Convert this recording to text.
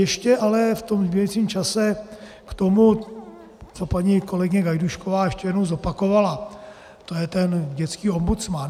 Ještě ale v tom zbývajícím čase k tomu, co paní kolegyně Gajdůšková ještě jednou zopakovala, to je ten dětský ombudsman.